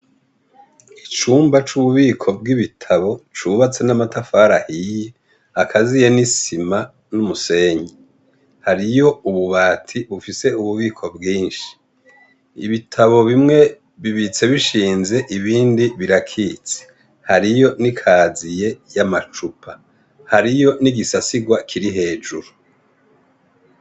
Icumba c'ububiko bw'ibitabo cubatse n'amatafari ahiye, akaziye n'isima nubumenyi. Hariyo ububati bufise ububiko bwinshi. Ibitabo bimwe bibitse bishinze ibindibbirakitse. Hariyo n'ikaziye y'amacupa. Hariyo n'igisasigwa kiri hejuru.